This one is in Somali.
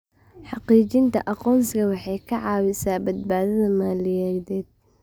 Xaqiijinta aqoonsiga waxay ka caawisaa badbaadada maaliyadeed.